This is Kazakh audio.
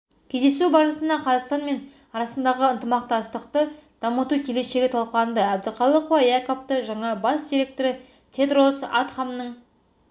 кездесу барысында қазақстан мен арасындағы ынтымақтастықты дамыту келешегі талқыланды әбдіқалықова якабты жаңа бас директоры тедрос адханомның